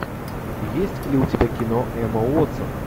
есть ли у тебя кино эмма уотсон